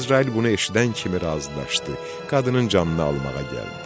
Əzrail bunu eşidən kimi razılaşdı, qadının canını almağa gəldi.